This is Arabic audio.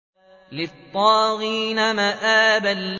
لِّلطَّاغِينَ مَآبًا